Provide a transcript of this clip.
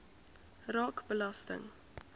raak belasting